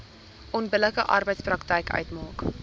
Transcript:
onbillike arbeidspraktyk uitmaak